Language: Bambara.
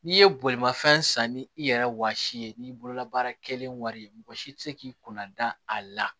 N'i ye bolimafɛn san ni i yɛrɛ wɔsi ye n'i bolola baara kelen wari ye mɔgɔ si tɛ se k'i kunna dan a la